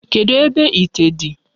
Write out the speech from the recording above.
Kedụ ebe ite dị?